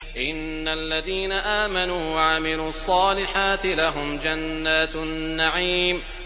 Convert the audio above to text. إِنَّ الَّذِينَ آمَنُوا وَعَمِلُوا الصَّالِحَاتِ لَهُمْ جَنَّاتُ النَّعِيمِ